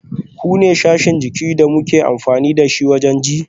Kunne sashin jikin da muke amfani dashi wajen ji